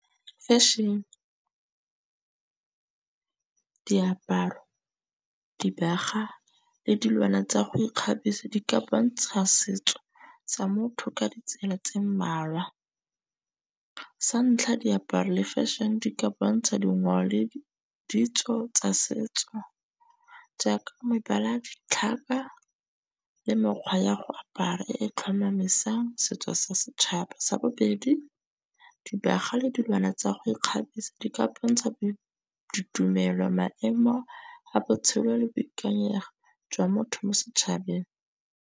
Fashion, diaparo, dibagwa le dilwana tsa go ikgabisa di ka bontsha setso sa motho ka ditsela tse mmalwa. Sa ntlha, diaparo le fashion di ka bontsha dingwao le ditso tsa setso jaaka mebala, ditlhaka le mekgwa ya go apara e tlhomamisang setso sa setšhaba. Sa bobedi, dibagwa le dilwana tsa go ikgabisa di ka bontsha ditumelo, maemo a botshelo le boikanyego jwa motho mo setšhabeng.